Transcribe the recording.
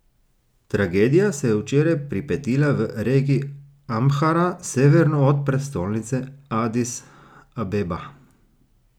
Tragedija se je včeraj pripetila v regiji Amhara severno od prestolnice Adis Abeba.